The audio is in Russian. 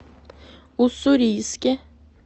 уссурийске